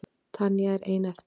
Tanya er ein eftir.